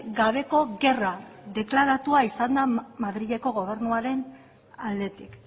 gabeko gerra deklaratua izan da madrileko gobernuaren aldetik